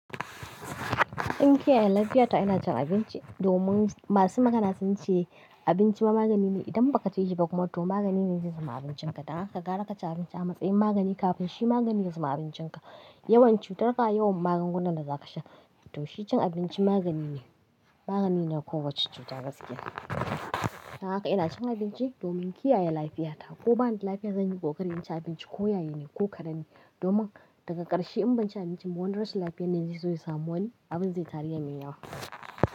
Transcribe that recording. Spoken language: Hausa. In kiyaye lafiyata ina cin abinci domin masu magana sun ce abinci ma magani ne. Idan ba ka ce shi ba kuma to magani ne zai zama abincinka. Dan haka ka gara ka ci abinci a matsayin magani kafin shi magani ya zama abincinka. Yawan cutar ka yawan magungunan da za ka sha. To shi cin abinci magani ne, magani ne na kowa cuta da basu ke ba. Dan haka ina cin abinci domin kiyaye lafiyata. Ko ba ni lafiya zan yi ko kar na ci abinci ko yaye ne ko kar na yi. Domin daga ƙarshe in ban ci abinci ba wan rasu lafiya na zai zo yi zamoni abin zai tarye min yawa.